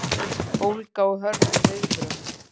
Ólga og hörð viðbrögð